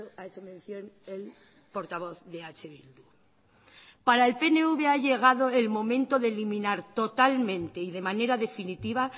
ha hecho mención el portavoz de eh bildu para el pnv ha llegado el momento de eliminar totalmente y de manera definitiva